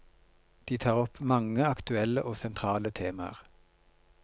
De tar opp mange aktuelle og sentrale temaer.